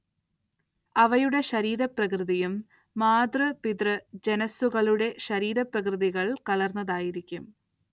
അവയുടെ ശരീരപ്രകൃതിയും മാതൃ-പിതൃ ജനുസ്സുകളുടെ ശരീരപ്രകൃതികൾ കലർന്നതായിരിക്കും.